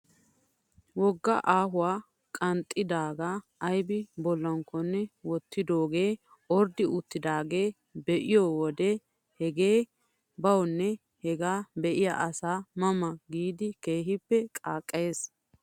Wogga ahuwaa qanxxidoogaa aybi bollankkonne wottidoogee orddi uttidaagaa be'iyoo wodiyan hegee bawnne hegaa be'iyaa asaa ma ma giidi keehi qaaqqayes.